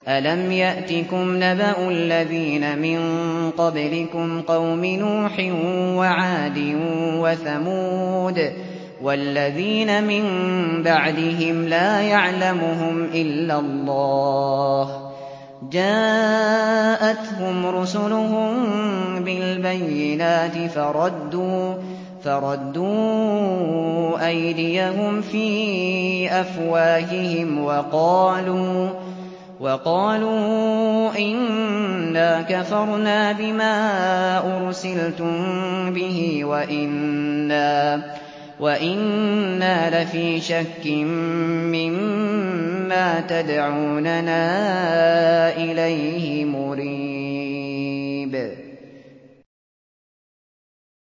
أَلَمْ يَأْتِكُمْ نَبَأُ الَّذِينَ مِن قَبْلِكُمْ قَوْمِ نُوحٍ وَعَادٍ وَثَمُودَ ۛ وَالَّذِينَ مِن بَعْدِهِمْ ۛ لَا يَعْلَمُهُمْ إِلَّا اللَّهُ ۚ جَاءَتْهُمْ رُسُلُهُم بِالْبَيِّنَاتِ فَرَدُّوا أَيْدِيَهُمْ فِي أَفْوَاهِهِمْ وَقَالُوا إِنَّا كَفَرْنَا بِمَا أُرْسِلْتُم بِهِ وَإِنَّا لَفِي شَكٍّ مِّمَّا تَدْعُونَنَا إِلَيْهِ مُرِيبٍ